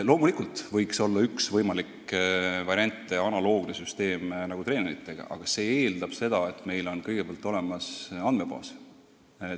Loomulikult võiks olla üks võimalik variant analoogne süsteem nagu treenerite töö tasustamisel, aga see eeldab, et meil on kõigepealt olemas andmebaas.